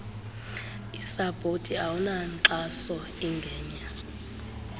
isapoti awunankxaso ingenye